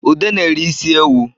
Ude na-eri isi ewu